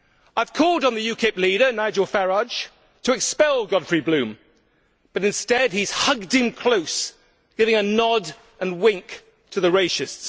I have called on the UKIP leader, Nigel Farage, to expel Godfrey Bloom, but instead he has hugged him close, giving a nod and a wink to the racists.